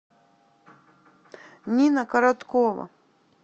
нина короткова